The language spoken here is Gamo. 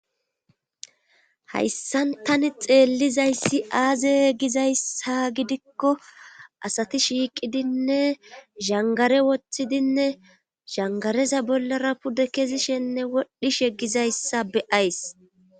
hayssan tani xeellizayssi aaze gizayssa gidikko asati shiiqidinne zhangare woththidinne zhangareza bollara pude kezishenne wodhishe gizayssa be ays